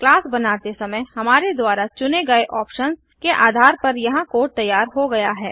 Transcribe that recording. class बनाते समय हमारे द्वारा चुने गये ऑप्शन्स के आधार पर यहाँ कोड तैयार हो गया है